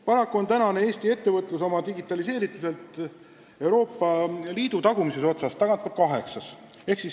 Paraku on Eesti ettevõtlus oma digitaliseerituselt Euroopa Liidu tagumises otsas, tagantpoolt kaheksas.